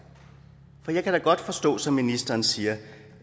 for jeg kan da godt forstå som ministeren siger